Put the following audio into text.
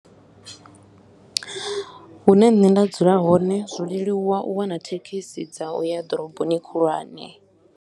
Hune nṋe nda dzula hone zwo leluwa u wana thekhisi dza u ya ḓoroboni khulwane.